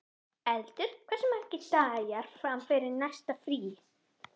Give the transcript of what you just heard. Eldur, hversu margir dagar fram að næsta fríi?